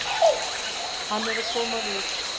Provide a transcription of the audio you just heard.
Hann er að koma við.